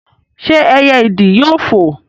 ṣé ẹyẹ ìdì yóò foò?